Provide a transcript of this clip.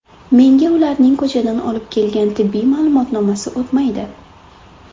Menga ularning ko‘chadan olib kelgan tibbiy ma’lumotnomasi o‘tmaydi.